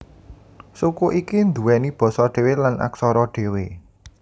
Suku iki nduweni basa dhewe lan aksara dhewe